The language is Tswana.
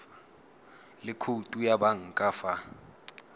le khoutu ya banka fa